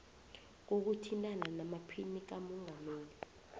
kokuthintana namaphini wakamongameli